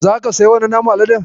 Za ka siyi wannan naman Aladen?